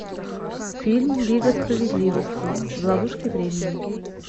фильм лига справедливости в ловушке времени